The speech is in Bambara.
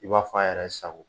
I b'a fɔ a yɛrɛ sago